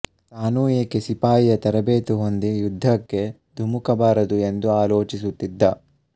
ತಾನೂ ಏಕೆ ಸಿಪಾಯಿಯ ತರಬೇತು ಹೊಂದಿ ಯುದ್ಧಕ್ಕೆ ಧುಮುಕಬಾರದು ಎಂದೂ ಆಲೋಚಿಸುತ್ತಿದ್ದ